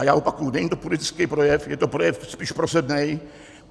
A já opakuji - není to politický projev, je to projev spíš prosebný.